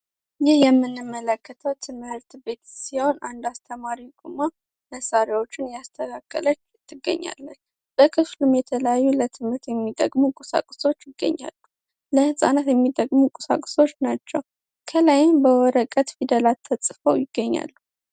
ይህ የምንመለከተው ትምህርት ቤት ሲሆን አንድ አስተማሪ ቁሞ መሳሪያዎችን እያስተካከለ ይገኛል። በክፍሉም ለትምህርት የሚጠቅሙ የተለያዩ ቁሳቁሶች ይገኛሉ። ለህፃናት የሚጠቅሙ ቁሳቁሶች ናቸው። ከላይም በወረቀት ፊደሎች ተፅፈው ይገኛሉ።